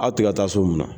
Aw tɛ ka taa so min na